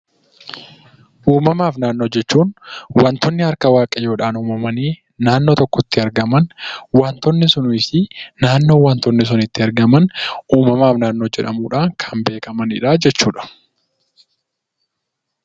Uumamaa fi naannoo jechuun wantoonni harka Waaqayyoon uumamanii naannoo tokkotti argaman wantoonni sunii fi naannoo isaan itti argaman uumamaa fi naannoo jedhamuun beekamu.